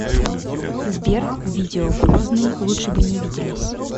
сбер видео грозный лучше бы не виделись